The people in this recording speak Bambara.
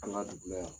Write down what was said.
An ka dugu la yan